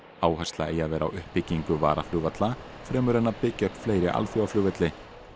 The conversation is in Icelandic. áhersla eigi að vera á uppbyggingu varaflugvalla fremur en að byggja upp fleiri alþjóðaflugvelli